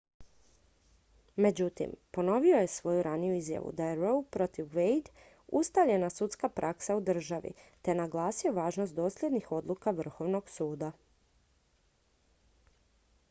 međutim ponovio je svoju raniju izjavu da je roe protiv wade ustaljena sudska praksa u državi te naglasio važnost dosljednih odluka vrhovnog suda